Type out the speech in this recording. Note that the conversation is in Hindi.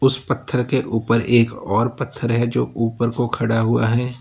कुछ पत्थर के ऊपर एक और पत्थर है जो ऊपर को खड़ा हुआ है।